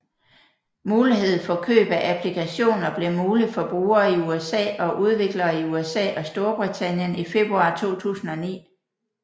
Mulighed for køb af applikationer blev muligt for brugere i USA og udviklere i USA og Storbritannien i februar 2009